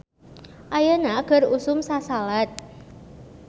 "Ayeuna keur usum sasalad "